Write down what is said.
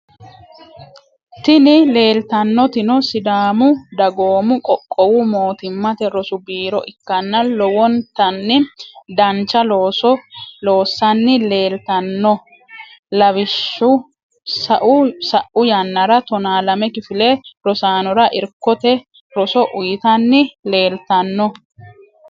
Tini lelitanotino sidaamu dagoomu qoqqowu mootimmate rosu biiro ikana lowonitani danicha looso loosani leitano lawishsho sa’u yanara tona lame kifile rosanora irkote rosso uyitani lelitano.